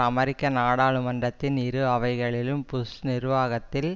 அமெரிக்க நாடாளுமன்றத்தின் இரு அவைகளிலும் புஷ் நிர்வாகத்தில்